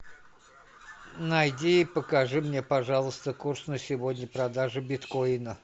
найди и покажи мне пожалуйста курс на сегодня продажа биткоина